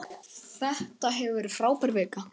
Þetta hefur verið frábær vika.